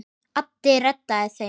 Addi reddaði þeim.